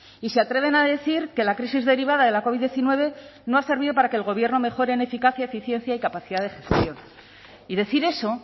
y se atreven a decir que la crisis derivada de la covid diecinueve no ha servido para que el gobierno mejore en eficacia eficiencia y capacidad de ejecución y decir eso